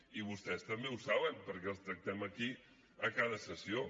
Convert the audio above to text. i vostès també ho saben perquè els tractem aquí a cada sessió